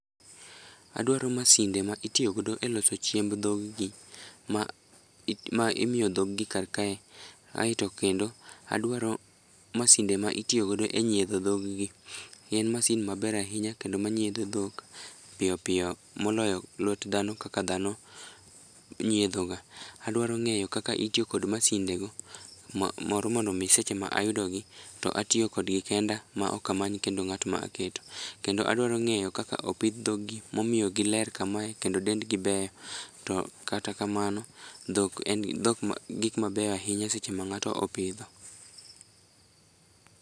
Adwaro masinde ma itiyogodo e loso chiemb dhoggi ma imiyo dhoggi karkae, aeto kendo adwaro masinde ma itiyogodo e nyiedho dhoggi. En masin maber ahinya kendo manyiedho dhok piyopiyo moloyo lwet dhano kaka dhano nyiedhoga. Adwaero ng'eyo kaka itiyo kod masindego moro mondo omi seche ma ayudogi to atiyo kodgi kenda maok amany kendo ng'at ma aketo. Kendo adwaro ng'eyo kaka opidh dhoggi momiyo giler kamae kendo dendgi beyo to kata kamano, dhok en gik mabeyo ahinya seche ma ng'ato opidho.